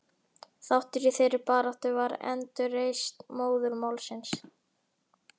Þáttur í þeirri baráttu var endurreisn móðurmálsins.